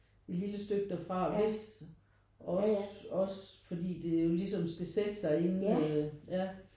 Et lille stykke derfra vist også også fordi det jo ligesom skal sætte sig inden øh ja